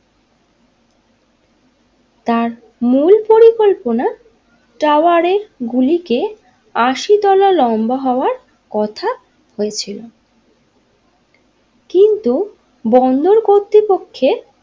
তার মূল পরিকল্পনা টাওয়ারের গুলিকে আশি তলা লম্বা হওয়ার কথা হয়েছিল কিন্তু বন্দর কর্তৃপক্ষের।